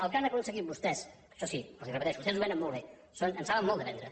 el que han aconseguit vostès això sí els ho repeteixo vostès ho venen molt bé en saben molt de vendre